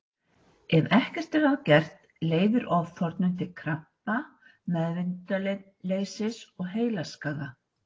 Ef ekkert er að gert leiðir ofþornun til krampa, meðvitundarleysis og heilaskaða.